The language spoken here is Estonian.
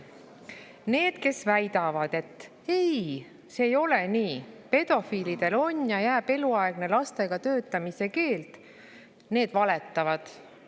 Need, kes väidavad, et ei, see ei ole nii, pedofiilidel on ja jääb eluaegne lastega töötamise keeld, valetavad.